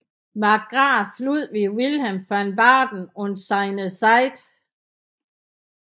Markgraf Ludwig Wilhelm von Baden und seine Zeit